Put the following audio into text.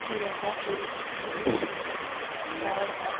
यह एक बहुत सुंदर पहाड़ है।